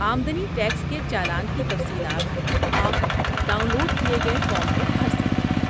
آمدنی ٹیکس کے چالان کی تفصیلات آپ ڈاؤن لوڈ کیے گئے فارم میں بھر سکتے ہیں۔